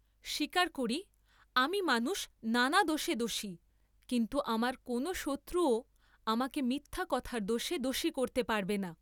স্বীকার করি আমি মানুষ নানা দোষে দোষী, কিন্তু আমার কোন শত্রুও আমাকে মিথ্যা কথার দোষে দোষী করতে পারবে না।